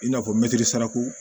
I n'a fɔ saraku